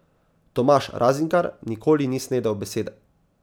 Tomaž Razingar nikoli ni snedel besede.